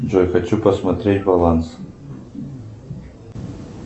джой хочу посмотреть баланс